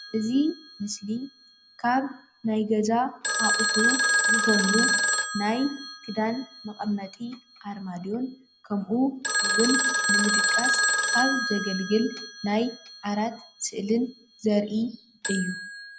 እዚ ምስሊ ካብ ናይ ገዛ ኣቑሑ ዝኾኑ ናይ ክዳን መቐመጢ ኣርማድዮን ከምኡ እውን ንምድቃስ ካብ ዘገልግል ናይ ዓራት ስእሊን ዘርኢ አዩ።